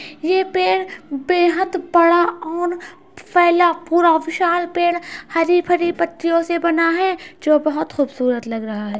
ये पेड़ बेहद बड़ा और फैला पूरा विशाल पेड़ हरी भरी पत्तियों से बना है जो बहुत खूबसूरत लग रहा है।